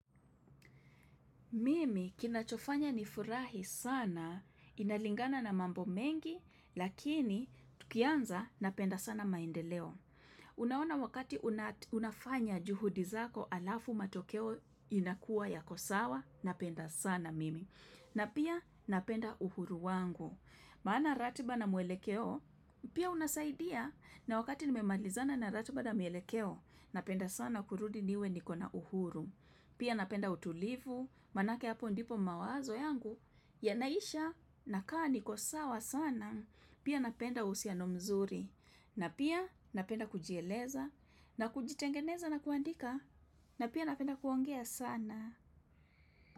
Mimi kinachofanya nifurahi sana, inalingana na mambo mengi, lakini tukianza napenda sana maendeleo. Unaona wakati unafanya juhudi zako alafu matokeo inakua yako sawa, napenda sana mimi. Na pia napenda uhuru wangu. Maana ratiba na mwelekeo, pia unasaidia na wakati nimemalizana na ratiba na mielekeo, napenda sana kurudi niwe nikona uhuru. Pia napenda utulivu, manake hapo ndipo mawazo yangu, yanaisha na kaa niko sawa sana, pia napenda uhusiano mzuri. Na pia napenda kujieleza, na kujitengeneza na kuandika, na pia napenda kuongea sana.